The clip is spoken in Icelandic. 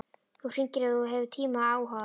Þú hringir ef þú hefur tíma og áhuga.